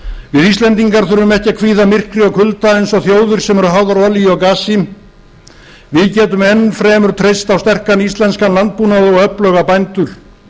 við íslendingar þurfum ekki að kvíða myrkri og kulda eins og þjóðir sem eru háðar olíu og gasi við getum enn fremur treyst á íslenskan landbúnað og öfluga bændur